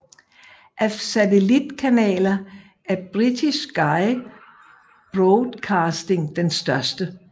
Af satellitkanaler er Britisk Sky Broadcasting den største